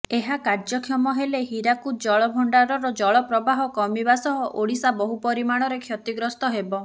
ଏହା କାର୍ଯ୍ୟକ୍ଷମ ହେଲେ ହୀରାକୁଦ ଜଳଭଣ୍ଡାରର ଜଳ ପ୍ରବାହ କମିବା ସହ ଓଡ଼ିଶା ବହୁ ପରିମାଣରେ କ୍ଷତିଗ୍ରସ୍ତ ହେବ